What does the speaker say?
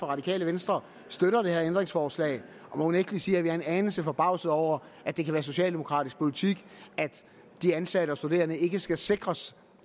radikale venstre støtter ændringsforslaget og mon ikke vi siger at vi er en anelse forbavsede over at det kan være socialdemokratisk politik at de ansatte og studerende ikke skal sikres